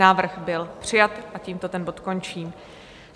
Návrh byl přijat a tímto ten bod končím.